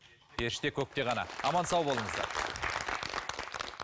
періште көкте ғана аман сау болыңыздар